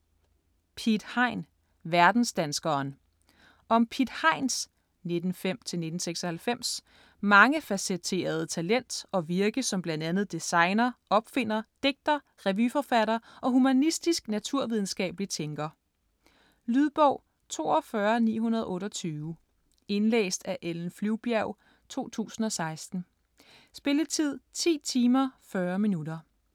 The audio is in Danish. Piet Hein - verdensdanskeren Om Piet Heins (1905-1996) mangefacetterede talent og virke som bl.a. designer, opfinder, digter, revyforfatter og humanistisk-naturvidenskabelig tænker. Lydbog 42928 Indlæst af Ellen Flyvbjerg, 2016. Spilletid: 10 timer, 40 minutter.